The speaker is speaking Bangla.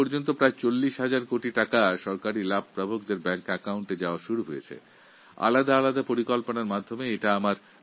বিভিন্ন প্রকল্পে উপকৃতদের ব্যাংক অ্যাকাউন্টে সরাসরি এখনও পর্যন্ত প্রায় ৪০ হাজার কোটি টাকা পৌঁছেছে